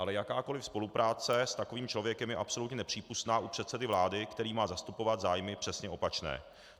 Ale jakákoliv spolupráce s takovým člověkem je absolutně nepřípustná u předsedy vlády, který má zastupovat zájmy přesně opačné.